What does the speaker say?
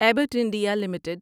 Abbott India limited